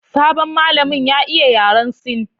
Sabon malamin ya iya yaran Sin